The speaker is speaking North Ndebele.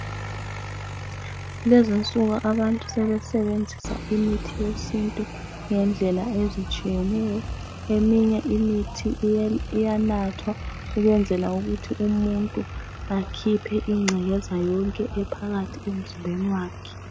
Lezi insuku abantu sebesebenzisa imithi yesintu ngendlela ezitshiyeneyo eminye imithi iyanathwa ukwenzela ukuthi umuntu akhiphe ingcekeza yonke ephakathi emzimbeni wakhe.